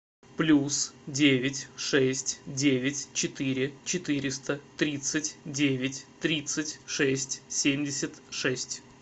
плюс девять шесть девять четыре четыреста тридцать девять тридцать шесть семьдесят шесть